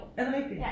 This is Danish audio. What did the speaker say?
Er det rigtigt?